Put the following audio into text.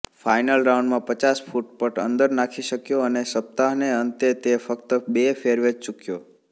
final રાઉન્ડમાં પચાસફુટ પટ અંદર નાખી શક્યો અને સપ્તાહને અંતે તે ફક્ત બે ફેરવેઝ ચૂક્યો